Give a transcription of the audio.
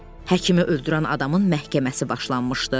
Həkimi öldürən adamın məhkəməsi başlanmışdı.